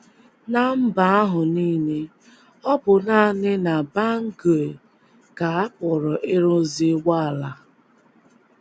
Ná mba ahụ nile, ọ bụ nanị na Bangui ka a pụrụ ịrụzi ụgbọala.